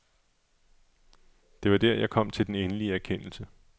Det var der, jeg kom til den endelige erkendelse.